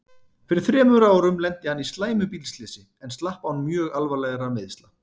Fyrir þremur árum lenti hann í slæmu bílslysi en slapp án mjög alvarlegra meiðsla.